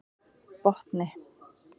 Botni